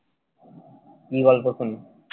কি গল্প শুনিস?